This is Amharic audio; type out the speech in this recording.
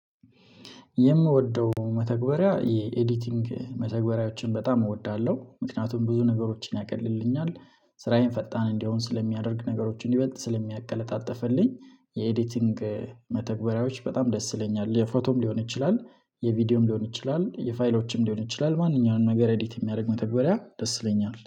የምወደው መተግበሪያ የኤዲቲንግ መተግበሪያዎችን በጣም እወዳለሁ ምክንያቱም ብዙ ነገሮችን ያቀልልኛል ስራዬን ፈጣን እንዲሆን ስለሚያደርግ ነገሮችን ይበልጥ ስለሚያቀለጣጥፍልኝ የኤዲቲንግ መተግበሪያዎች በጣም ደስ ይለኛል። የፎቶም ሊሆን ይችላል የቪዲዮም ሊሆን ይችላል የፋይሎችም ሊሆን ይችላል ማንኛውንም ነገር አዲት የሚያደርግ መተግበሪያ ደስ ይለኛል